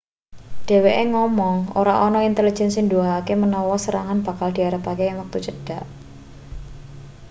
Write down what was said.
dheweke ngomong ora ana intelejen sing nuduhake menawa serangan bakal diarepake ing wektu cedhak